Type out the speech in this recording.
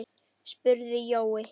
spurði Jói.